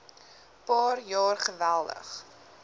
paar jaar geweldig